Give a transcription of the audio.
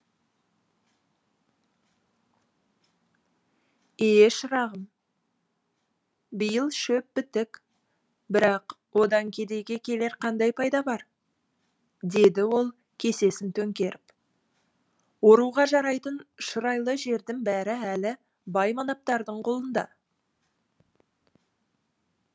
ие шырағым биыл шөп бітік бірақ одан кедейге келер қандай пайда бар деді ол кесесін төңкеріп оруға жарайтын шұрайлы жердің бәрі әлі бай манаптардың қолында